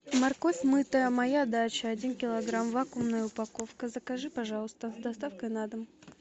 морковь мытая моя дача один килограмм вакуумная упаковка закажи пожалуйста с доставкой на дом